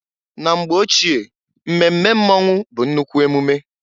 Na mgbe ochie mmemme mmonwu bụ nnukwu emume.